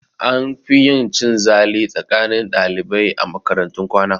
An fi yin cin zali tsakanin ɗalibai a makaratun kwana